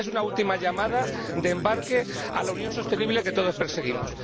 Esta es una última llamada de embarque a la Unión sostenible que todos perseguimos.